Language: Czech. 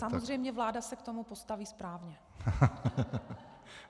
Samozřejmě, vláda se k tomu postaví správně.